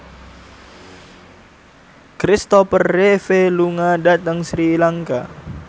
Kristopher Reeve lunga dhateng Sri Lanka